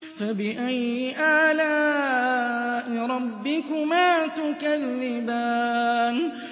فَبِأَيِّ آلَاءِ رَبِّكُمَا تُكَذِّبَانِ